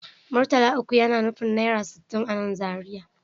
Murtala uku yana nufin naira sittin a nan Zariya